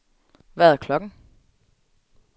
Hvad er klokken